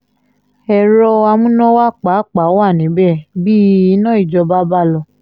èrò amúnáwá pàápàá wà níbẹ̀ bí iná ìjọba bá lọ